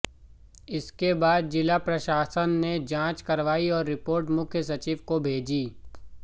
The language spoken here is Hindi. इसके बाद जिला प्रशासन ने जांच करवाई और रिपोर्ट मुख्य सचिव को भेजी